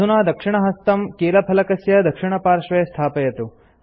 अधुना दक्षिणहस्तं कीलफलकस्य दक्षिणपार्श्वे स्थापयतु